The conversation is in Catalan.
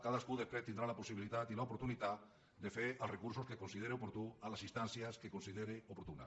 cadascú després tindrà la possibilitat i l’oportunitat de fer els recursos que consideri oportuns a les instàncies que consideri oportunes